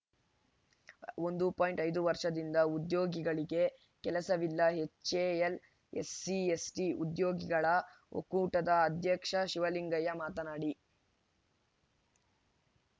ಒಂದು ಪಾಯಿಂಟ್ ಐದು ವರ್ಷದಿಂದ ಉದ್ಯೋಗಿಗಳಿಗೆ ಕೆಲಸವಿಲ್ಲ ಎಚ್‌ಎಎಲ್‌ ಎಸ್‌ಸಿ ಎಸ್‌ಟಿ ಉದ್ಯೋಗಿಗಳ ಒಕ್ಕೂಟದ ಅಧ್ಯಕ್ಷ ಶಿವಲಿಂಗಯ್ಯ ಮಾತನಾಡಿ